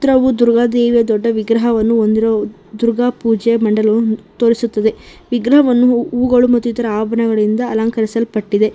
ಹಾಗೂ ದುರ್ಗಾ ದೇವಿಯ ದೊಡ್ಡ ವಿಗ್ರಹವನ್ನು ಹೊಂದಿರುವ ದುರ್ಗಾ ಪೂಜೆ ಮಂಡಲವು ತೋರಿಸುತ್ತದೆ ವಿಗ್ರಹವನ್ನು ಹೂಗಳು ಮತ್ತು ಇತರ ಆಭರಣಗಳಿಂದ ಅಲಂಕರಿಸಲ್ಪಟ್ಟಿದೆ.